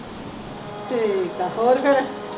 ਠੀਕ ਹੈ ਹੋਰ ਫੇਰ